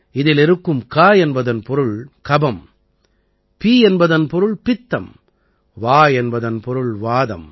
இதில் இருக்கும் க என்பதன் பொருள் கபம் பி என்பதன் பொருள் பித்தம் வா என்பதன் பொருள் வாதம்